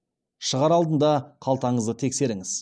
шығар алдында қалтаңызды тексеріңіз